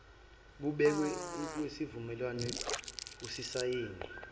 kubekiwe kwisivumelwano osisayine